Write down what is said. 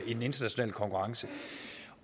den internationale konkurrence